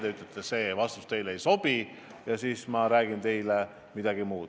Teie ütlete, et vastus teile ei sobi ja ma räägin teile midagi muud.